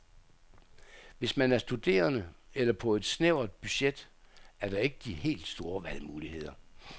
Hvis man er studerende eller på et snævert budget, er der ikke de helt store valgmuligheder.